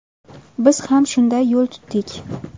Biz ham shunday yo‘l tutdik.